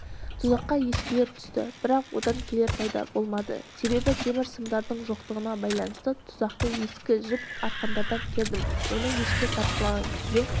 тұзаққа ешкілер түсті бірақ одан келер пайда болмады себебі темір сымдардың жоқтығына байланысты тұзақты ескі жіп арқандардан кердім оны ешкі тартқылаған кезде